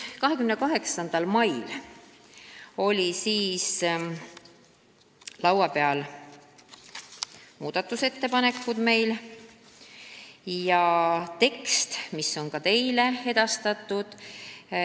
28. mail olid meil laua peal muudatusettepanekud, see tekst on ka teile edastatud.